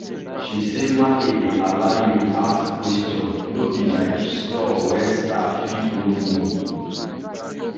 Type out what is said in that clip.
she say market dey allow you ask question no be like store where staff fit no know.